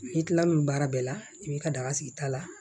N'i kila l'o baara bɛɛ la i b'i ka daga sigi ta la